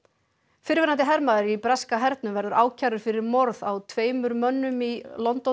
fyrrverandi hermaður í breska hernum verður ákærður fyrir morð á tveimur mönnum í